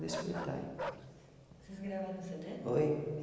despertai. Vocês gravaram cê dê? oi?